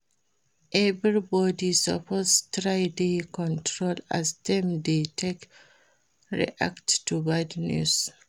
Everybodi suppose try dey control as dem dey take react to bad news.